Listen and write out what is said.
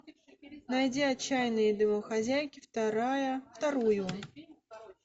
найди отчаянные домохозяйки вторая вторую